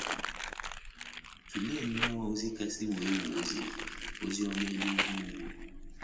Tụlee nnọọ ozi kasị wuo ewuo o ziri — Oziọma Elu Ugwu Ugwu.